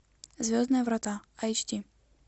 звездные врата эйч ди